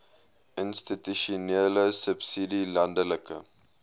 institusionele subsidie landelike